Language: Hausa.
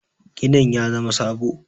ginin ya zama sabo?